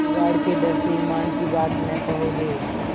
बिगाड़ के डर से ईमान की बात न कहोगे